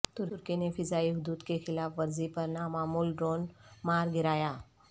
ترکی نے فضائی حدود کی خلاف ورزی پر نامعلوم ڈرون مار گرایا